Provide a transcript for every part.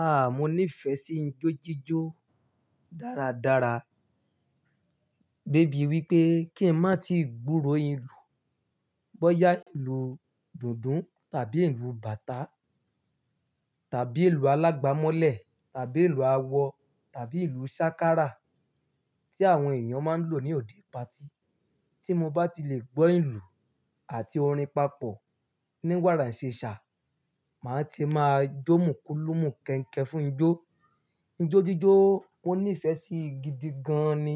Ah! Mo nífẹ̀ẹ́ sí ijó jíjó dáradára. Débi wípé kí n má tí gbúrò èlù bọ́yá ìlù dùndún tàbí ilu bàtá tàbí ilù alágbàmọ́lẹ̀ tàbí ilù àwọ̀ tàbí ilù sákárà tí àwọn èèyàn máa ń lò ní òde party. Tí mo bá ti lè gbọ́ èlù àti orin papọ̀ ní wàrà ìṣesà, màá ti máa jómùkúlùmú kẹ̀ǹkẹ́ fún ijó. Ijó jíjó mo nífẹ̀ẹ́ sí gidi gan ni.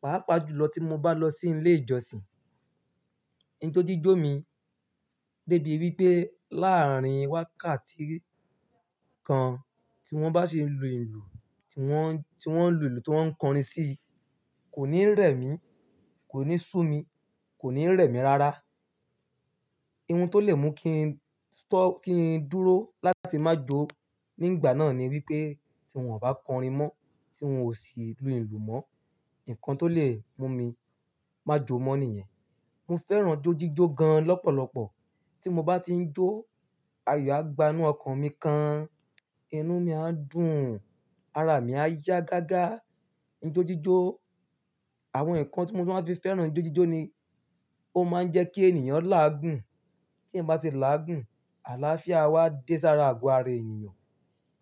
Pàápa julọ tí mo bá lọ sí ilé ìjọsìn. Ijó jíjó mi débi wípé láàárín wákàtí kan tí wọ́n bá ṣin lù ìlu ti wọ́, tí wọ́n lu ìlù ti wọ́n ń kọrin sí, kò ní rẹ̀ mí, kò ní sú mi, kò ní rẹ̀ mí rara. Ihun tó lè mú kin tó, kí n dúró láti má jó nígbà náà ni wípé tí wọ́n ò bá kọrin mọ́, tí wọ́n ò sì lu ìlù mọ́, nǹkan tó lè mú mi máa jó mọ́ nìyẹn. Mo fẹ́ràn ijó jíjó gan lọ́pọ̀lọpọ̀. Tí mo bá ti ń jó, ayọ̀ á gbá inú ọkàn mi kan, inú mí á dùn, ara mí á yá gágá. Ijó jíjó, àwọn ǹkan tí mo máa fi fẹ́ràn ijó jíjó ni ó máa ń jẹ́ kí ènìyàn láàgùn. Tí ẹ̀yan bá ti láàgùn, àlàáfíà a wá dé sára àgọ́ ara ènìyàn.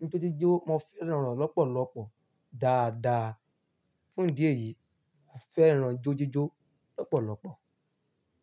Ijó jíjó mo fẹ́ràn re de lọ́pọ̀lọpọ̀ dáadáa. Fún idí ẹ̀yìí, mo fẹ́ràn ijó jíjó lọ́pọ̀lọpọ̀.